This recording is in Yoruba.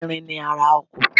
Irin ni ara ọkọ̀.